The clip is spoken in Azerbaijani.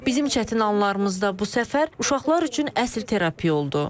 Bizim çətin anlarımızda bu səfər uşaqlar üçün əsl terapiya oldu.